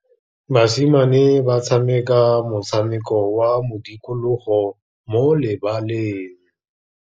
Basimane ba tshameka motshameko wa modikologô mo lebaleng.